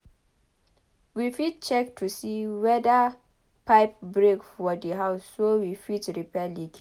We fit check to see weda pipe break for the house so we fit repair leakage